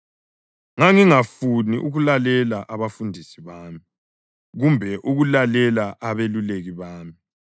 Ngangingafuni ukulalela abafundisi bami kumbe ukulalela abeluleki bami.